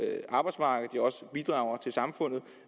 arbejdsmarkedet og bidrager til samfundet